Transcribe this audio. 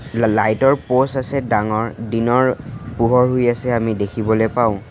ল লাইট ৰ প'ষ্ট আছে ডাঙৰ দিনৰ পোহৰ হৈ আছে আমি দেখিবলৈ পাওঁ।